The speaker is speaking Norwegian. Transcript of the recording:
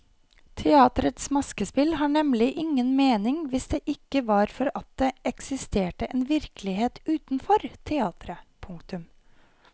Teatrets maskespill har nemlig ingen mening hvis det ikke var for at det eksisterte en virkelighet utenfor teatret. punktum